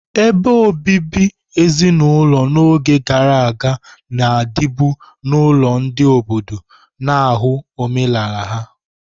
Ebe obibi ezinulo n'oge gara aga na-adịbu n'ụlọ ndị obodo, na-ahụ omenala ha.